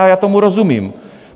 A já tomu rozumím.